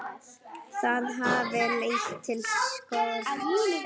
Það hafi leitt til skorts.